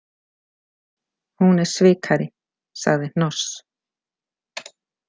Hún er svikari, sagði Hnoss.